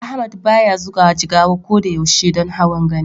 Ahmad baya zuwa Jigawa ko da yaushe don hawan Gani.